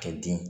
Kɛ den